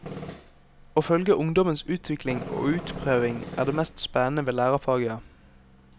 Å følge ungdommens utvikling og utprøving er det mest spennende ved lærerfaget.